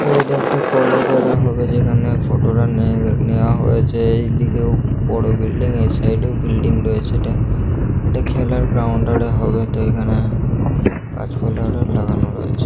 তো এটা একটা কলেজ অ্যাডা হবে যেখানে ফোটা টা নেয়া নেওয়া হয়েছেএই দিকেও বড়ো বিল্ডিং এই সাইড এও বিল্ডিং রয়েছে এটা খেলার গ্রাউন্ড হবেতো এখানে গাছপালা লাগানো রয়েছে।